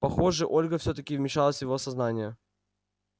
похоже ольга всё-таки вмешалась в его сознание